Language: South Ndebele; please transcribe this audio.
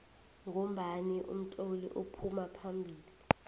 ngombani utloli uphuma phambili